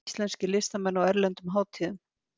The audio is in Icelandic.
Íslenskir listamenn á erlendum hátíðum